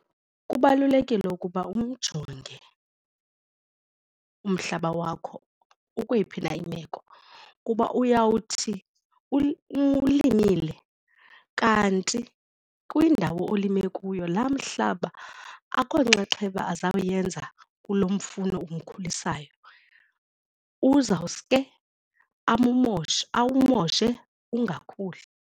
Kubalulekile ukuba umjonge umhlaba wakho ukweyiphi na imeko kuba uyawuthi uwulimile kanti kule ndawo olime kuyo laa mhlaba akhonxaxheba azawenza kulo mfuno umkhulisa nayo uzawuske awumoshe awumoshe ungakhuli.